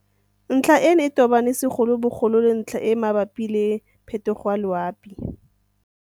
Ntlha eno e tobane segolobogolo le ntlha e e mabapi le phetogo ya loapi.